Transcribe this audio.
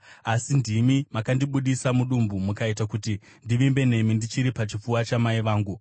Asi ndimi makandibudisa mudumbu; mukaita kuti ndivimbe nemi ndichiri pachipfuva chamai vangu.